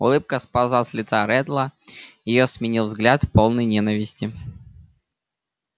улыбка сползла с лица реддла её сменил взгляд полный ненависти